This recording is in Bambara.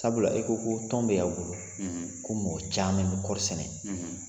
Sabula i ko ko tɔn bɛ y'aw bolo ko mɔgɔ caman bɛ kɔɔri sɛnɛ